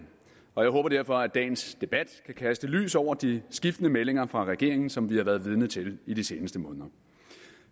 og jeg håber derfor at dagens debat kan kaste lys over de skiftende meldinger fra regeringen som vi har været vidne til i de seneste måneder